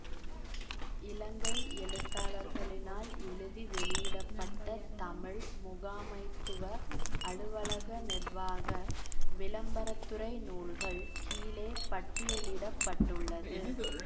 இலங்கை எழுத்தாளர்களினால் எழுதி வெளியிட பட்ட தமிழ் முகாமைத்துவ அலுவலக நிர்வாக விளம்பரத்துறை நூல்கள் கீழே பட்டியலிட பட்டுள்ளது